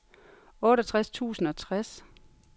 otteogtres tusind og tres